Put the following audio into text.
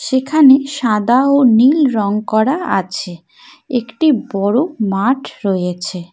যেখানে সাদা ও নীল রং করা আছে একটি বড়ো মাঠ রয়েছে।